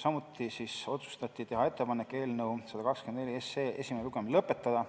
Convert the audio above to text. samuti otsustati teha ettepanek eelnõu 124 esimene lugemine lõpetada .